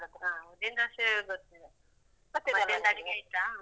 ಹಾ. ಉದ್ದಿನ್ ದೋಸೆ ಗೊತ್ತಲ್ಲ ಮಧ್ಯಾಹ್ನದ ಅಡುಗೆ ಆಯ್ತಾ?